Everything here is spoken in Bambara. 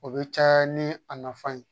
O bɛ caya ni a nafan ye